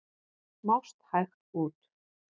Mást hægt út.